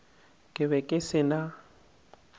ke be ke se na